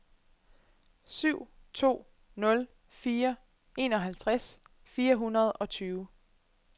syv to nul fire enoghalvtreds fire hundrede og tyve